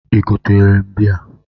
Ị gotere m bịya?